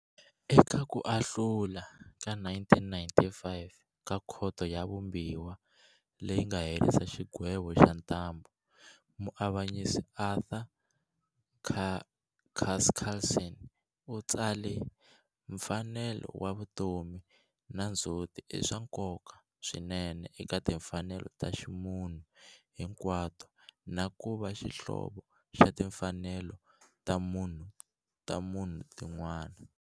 Eka ku ahlula ka 1995 ka Khoto ya Vumbiwa leyi nga herisa xigwevo xa ntambhu, Muavanyisi Arthur Chaskalson u tsale- Mfanelo ya vutomi na ndzhuti i swa nkoka swinene eka timfanelo ta ximunhu hinkwato na ku va xihlovo xa timfanelo ta munhu tin'wana.